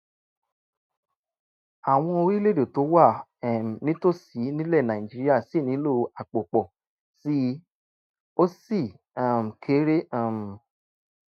àwọn orílẹ̀-èdè tó wà um nítòsí nílẹ̀ nàìjíríà ṣì nílò àpò pọ̀ sí i ó sì um kéré um